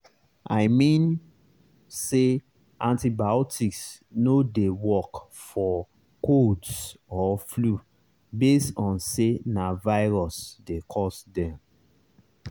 i mean say antibiotics no dey work for colds or flu base on say na virus dey cause dem.